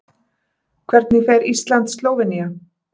Hvernig fer Ísland- Slóvenía?